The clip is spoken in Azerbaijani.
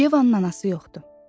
Yevanın anası yoxdur.